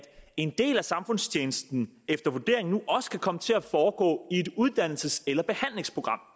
en del af samfundstjenesten efter vurderingen nu også kan komme til at foregå i et uddannelses eller behandlingsprogram